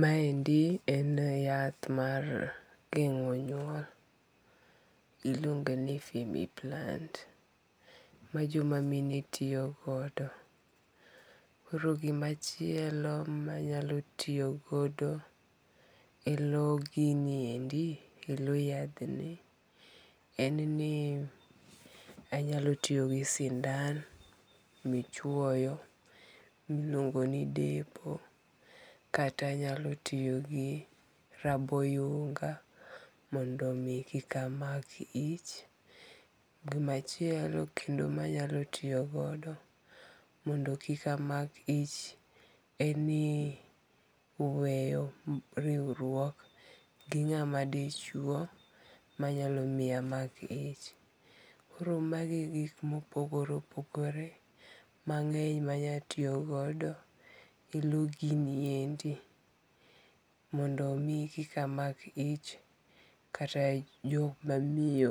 Maendi en yath mar gengo' nyuol, iluoge ni femi plant, majomamine tiyogodo, koro gimachielo manyalo tiyogodo e lo giniendi e lo yathni en ni anyalo tiyo gi sindan michuoyo miluongo' ni depo kata anyalo tiyo gi raboyunga mondo mi kik amak yich, gimachielo manyalo tiyogodo mondo kik amak ich en ni weyo riwruok gi nga'ma dichuo manyalo miya amak ich, koro magi e gik mopogore opogore mange'ny manyalo tiyogogo e lo giniendi mondo mi kik amak ich, kata jok mamiyo